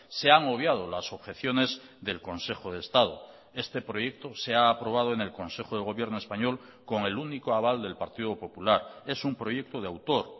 se han obviado las objeciones del consejo de estado este proyecto se ha aprobado en el consejo de gobierno español con el único aval del partido popular es un proyecto de autor